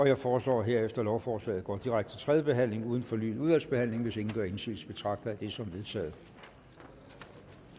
jeg foreslår herefter at lovforslaget går direkte til tredje behandling uden fornyet udvalgsbehandling hvis ingen gør indsigelse betragter jeg det som vedtaget